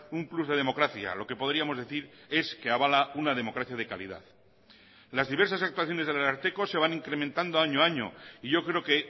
un plus de democracia lo que podríamos decir es que avala una democracia de calidad las diversas actuaciones del ararteko se van incrementando año a año y yo creo que